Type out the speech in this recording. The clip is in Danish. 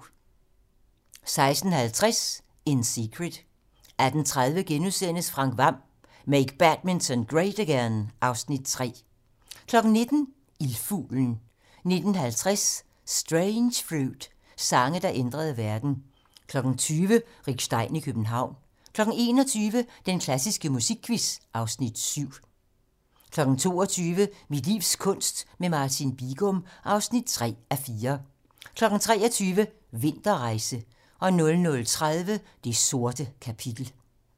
16:50: In Secret 18:30: Frank Hvam: Make Badminton Great Again (Afs. 3)* 19:00: Ildfuglen 19:50: Strange Fruit - sange, der ændrede verden 20:00: Rick Stein i København 21:00: Den klassiske musikquiz (Afs. 7) 22:00: Mit livs kunst - med Martin Bigum (3:4) 23:00: Vinterrejse 00:30: Det sorte kapitel